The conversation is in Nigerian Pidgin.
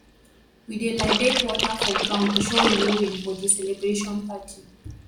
we dey libate water for ground to show renewing for di celebration party